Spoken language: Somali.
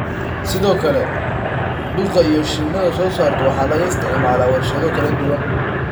Sidoo kale, dhuka ay shinnidu soo saarto waxa laga isticmaalaa warshado kala duwan.